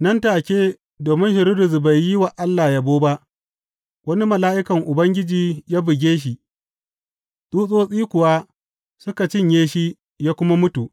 Nan take, domin Hiridus bai yi wa Allah yabo ba, wani mala’ikan Ubangiji ya buge shi, tsutsotsi kuwa suka cinye shi ya kuma mutu.